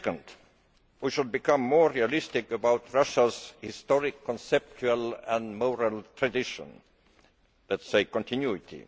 far. Thirdly, we should become more realistic about Russia's historic conceptual and moral tradition let us say, continuity.